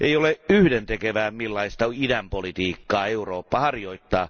Ei ole yhdentekevää, millaista idänpolitiikkaa Eurooppa harjoittaa.